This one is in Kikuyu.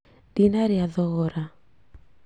Ndinĩria thogora